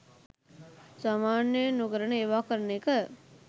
සාමාන්‍යයෙන් නොකරන ඒවා කරන එක